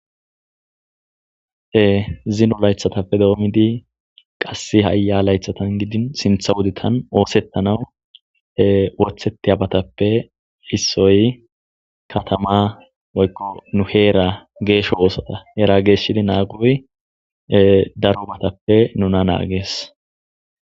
Zino laythatappe doomidi qasse haya laythatan gidin sintha wuditan oosettana wotheti abatappe issoy katama oykku nu heera geesho woosata heera geeshshidi naagoy darubatappe nuna naagees.